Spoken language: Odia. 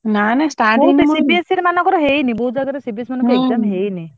ନାଁ ନାଁ